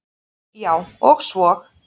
Já, og svo.